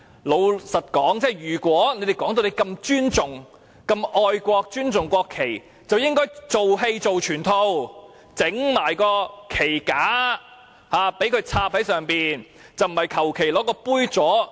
老實說，他們說自己這麼愛國和尊重國旗，便應該"做戲做全套"，同時擺放旗架，將旗子插在旗架上，而不是隨便使用杯座。